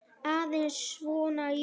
Aðeins svona, jú.